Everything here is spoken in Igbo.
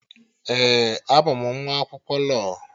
Ee, abụ m nwa akwụkwọ lọọ